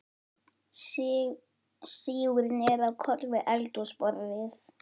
Sígur niður á koll við eldhúsborðið.